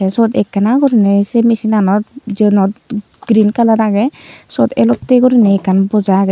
te suot ekkena guriney se machine anot jinot green colour agey sot elotte guriney ekkan poja agey.